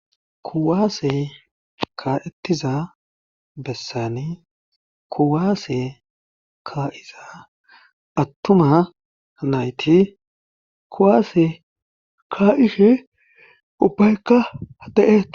kuwaase ka'ettiza bessani kuwaase ka7iza attuma nayti kuwaase kaa7ife ubbaykka da'etes